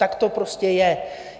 Tak to prostě je.